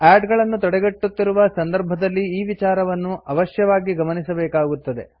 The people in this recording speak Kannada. ಆಡ್ ಗಳನ್ನು ತಡೆಗಟ್ಟುತ್ತಿರುವ ಸಂದರ್ಭದಲ್ಲಿ ಈ ವಿಚಾರವನ್ನು ಅವಶ್ಯವಾಗಿ ಗಮನಿಸಬೇಕಾಗುತ್ತದೆ